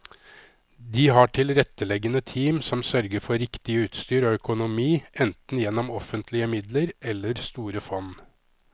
De har tilretteleggende team som sørger for riktig utstyr og økonomi, enten gjennom offentlige midler eller store fond.